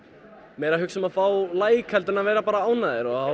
meira að hugsa um að fá like en að vera ánægðari og